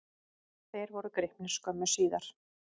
Þeir voru gripnir skömmu síðar.